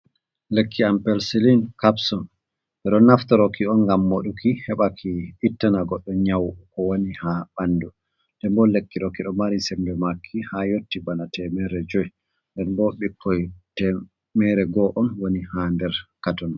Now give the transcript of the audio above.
Lekki ampelsylin capsun, ɓe ɗo naftaroki on ngam moɗuki heɓa ki ittana goɗɗo nyau ko woni ha ɓanɗu, nden bo lekki ɗo ki ɗo mari sembe maki ha yotti bana temere jui, den bo ɓikkoi temere go'o on woni ha nder katon.